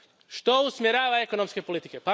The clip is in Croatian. Što usmjerava ekonomske politike?